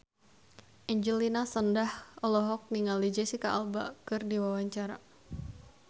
Angelina Sondakh olohok ningali Jesicca Alba keur diwawancara